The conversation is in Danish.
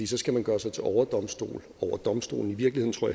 så skal man gøre sig til overdomstol over domstolen i virkeligheden tror